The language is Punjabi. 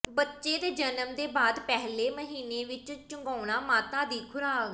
ਬੱਚੇ ਦੇ ਜਨਮ ਦੇ ਬਾਅਦ ਪਹਿਲੇ ਮਹੀਨੇ ਵਿਚ ਚੁੰਘਾਉਣ ਮਾਤਾ ਦੀ ਖੁਰਾਕ